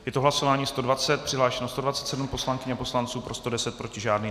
Je to hlasování 120, přihlášeno 127 poslankyň a poslanců, pro 110, proti žádný.